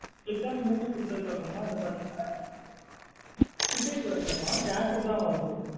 Click on movie குடுத்ததுக்கு அப்பறமா வந்து பாத்தீங்கன ticket வரல மா theatre தா வருது.